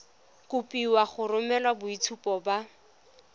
kopiwa go romela boitshupo ba